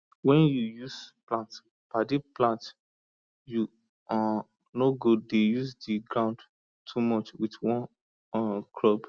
when you use plant padi plant you um nor go dey use the ground too much with one um crop